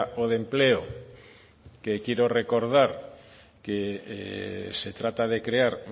o de empleo que quiero recordar que se trata de crear